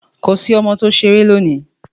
Kò sí ọmọ tí o sẹ̀rẹ̀ lóní!